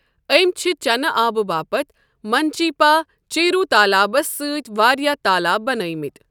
أمۍ چھِ چَنہٕ آبہٕ باپتھ منچیپا چیروو تالابَس سۭتۍ واریٛاہ تالاب بنٲیمٕتۍ۔